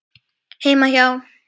Heima hjá